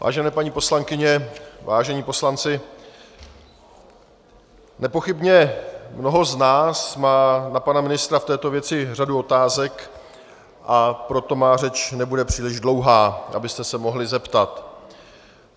Vážené paní poslankyně, vážení poslanci, nepochybně mnoho z nás má na pana ministra v této věci řadu otázek, a proto má řeč nebude příliš dlouhá, abyste se mohli zeptat.